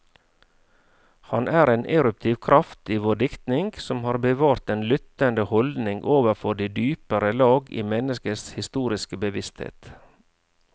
Han er en eruptiv kraft i vår diktning, som har bevart den lyttende holdning overfor de dypere lag i menneskets historiske bevissthet.